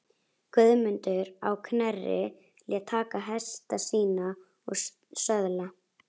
Guðmundur á Knerri lét taka hesta sína og söðla.